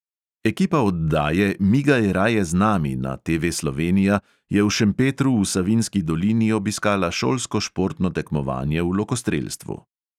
Ekipa oddaje migaj raje z nami na TV slovenija je v šempetru v savinjski dolini obiskala šolsko športno tekmovanje v lokostrelstvu.